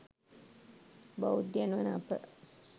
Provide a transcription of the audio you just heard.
බෞද්ධයන් වන අප,